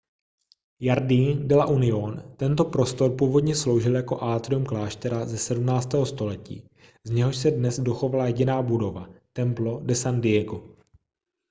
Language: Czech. jardín de la unión tento prostor původně sloužil jako atrium kláštera ze 17. století z něhož se dnes dochovala jediná budova templo de san diego